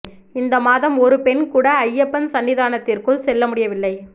இந்த மாதம் ஒரு பெண் கூட ஐயப்பன் சன்னிதானத்திற்குள் செல்ல முடியவில்லை